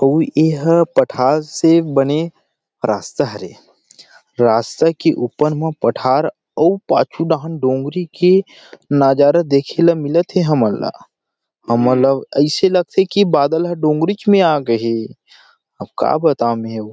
कोई ये ह पठार से बने रास्ता हरे रास्ता के ऊपर मा पठार अउ पाछू डहान डोंगरी के नजारा देखे ला मिलथे हमन ला ऐसे लगथे की बादल ह डोंगरीच मे आ गे हे अब का बताऊ मै वो --